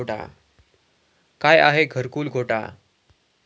काय आहे घरकुल घोटाळा?